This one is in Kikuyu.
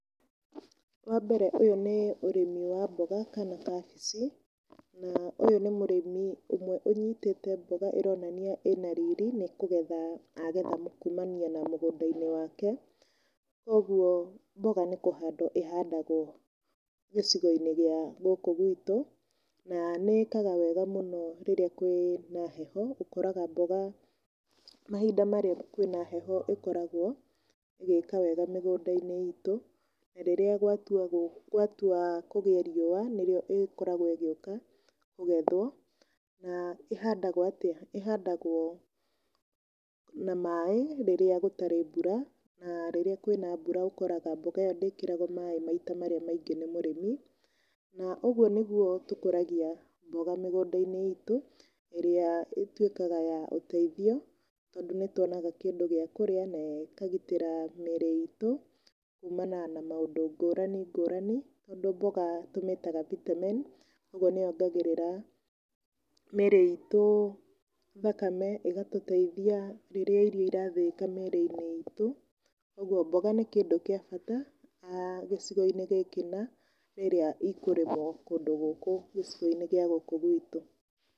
Wa mbere, ũyũ nĩ ũrĩmi wa mboga kana kabici. Na Ũyũ nĩ mũrĩmi ũmwe ũnyitĩte mboga ĩmwe ĩronania nĩ kũgetha agetha kumania na mũgũnda wake, koguo mboga nĩ kũhandwo ĩhandagwo gĩcigo-inĩ gĩa gũkũ gwitũ na nĩĩkaga wega mũno rĩrĩa kwĩna heho, ũkoraga mboga mahinda marĩa kwĩna heho ĩkoragwo ĩgĩka wega mĩgũnda-inĩ itũ. Rĩrĩa gwatua kũgea riũa nĩrĩo ĩkoragwo gũka kũgethwo na ihandagwo atĩa? Ĩhandagwo na maĩ rĩrĩa gũtarĩ mbura na rĩrĩa kwĩna mbura ũkoraga mboga ĩyo ndĩkĩragwo maĩ maita marĩa maingĩ nĩ mũrĩmi. Na ũguo nĩguo tũkũragia mboga mĩgũnda -inĩ itũ ĩrĩa ĩtuĩkaga ya ũteithio tondũ, nĩtwonaga kĩndũ gĩa kũrĩa na ĩkagitĩra mĩrĩ itũ kumana na maũndũ ngũrani ngũrani tondũ, mboga tũmĩtaga vitamin nĩyongagĩrĩra mĩrĩ itũ thakame, ĩ gatũteithia rĩrĩa irio cira thĩĩka mĩrĩ-inĩ itũ. Koguo mboga nĩ kĩndũ gĩa bata gĩcigo-inĩ gĩkĩ rĩrĩa ikũrĩmwo kũndũ gũkũ gĩcigo-inĩ gĩa gũkũ gwitũ.